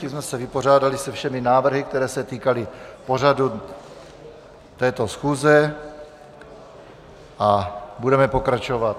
Tím jsme se vypořádali se všemi návrhy, které se týkaly pořadu této schůze, a budeme pokračovat.